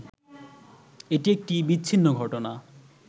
এটি একটি বিচ্ছিন্ন ঘটনা